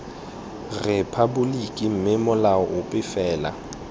rephaboliki mme molao ope fela